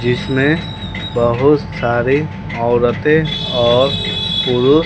जिसमें बहुत सारी औरतें और पुरु --